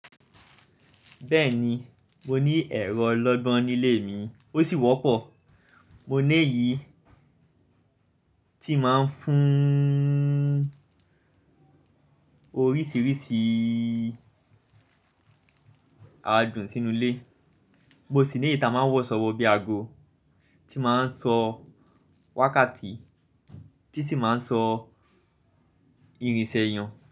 Bẹ́ẹ̀ni, mo ní ẹ̀rọ olọ́gbọ́n nílé mi, ó sì wọ́pọ̀. Mo ní èyí tí máa ń fún oríṣiríṣi àádùn sínú ilé. Mo sì ní èyí ta máa ń wọ ṣọ wọ bí aago, tí máa ń sọ wákàtí, tí sì máa ń sọ irinṣẹ́ èyàn.